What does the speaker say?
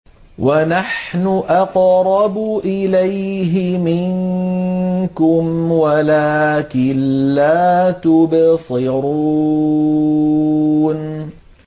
وَنَحْنُ أَقْرَبُ إِلَيْهِ مِنكُمْ وَلَٰكِن لَّا تُبْصِرُونَ